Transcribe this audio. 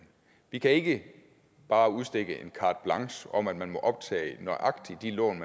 vi kan ikke bare udstikke en carte blanche om at man må optage nøjagtig de lån